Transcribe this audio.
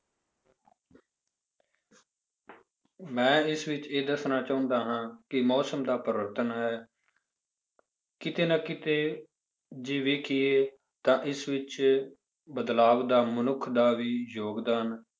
ਮੈਂ ਇਸ ਵਿੱਚ ਇਹ ਦੱਸਣਾ ਚਾਹੁੰਦਾ ਹਾਂ ਕਿ ਮੌਸਮ ਦਾ ਪਰਿਵਰਤਨ ਹੈ ਕਿਤੇ ਨਾ ਕਿਤੇ ਜੇ ਵੇਖੀਏ ਤਾਂ ਇਸ ਵਿੱਚ ਬਦਲਾਵ ਦਾ ਮਨੁੱਖ ਦਾ ਵੀ ਯੋਗਦਾਨ